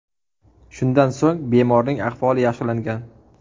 Shundan so‘ng bemorning ahvoli yaxshilangan.